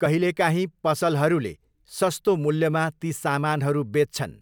कहिलेकाहीँ, पसलहरूले सस्तो मूल्यमा ती सामानहरू बेच्छन्।